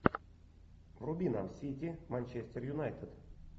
вруби нам сити манчестер юнайтед